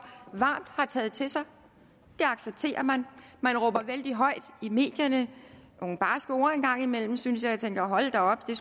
varmt har taget til sig det accepterer man man råber vældig højt i medierne nogle barske ord en gang imellem synes jeg tænker hold da op det